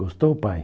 Gostou, pai?